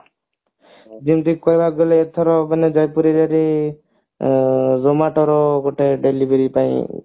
ଯେମତି କହିବାକୁ ଗଲେ ଏଥର ମାନେ ଜୟପୁରରେ ଯୋଉ ଆଁ Zomato ଗୋଟେ ର delivery ପାଇଁ